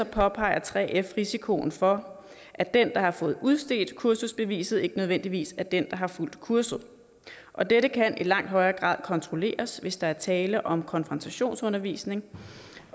påpeger 3f risikoen for at den der har fået udstedt kursusbeviset ikke nødvendigvis er den der har fulgt kurset og dette kan i langt højere grad kontrolleres hvis der er tale om konfrontationsundervisning